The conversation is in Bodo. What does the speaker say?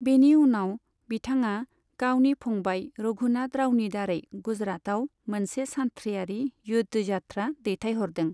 बेनि उनाव, बिथांङा गावनि फंबाय रघुनाथ रावनि दारै गुजरातआव मोनसे सानथ्रिआरि युद्धयात्रा दैथायहरदों।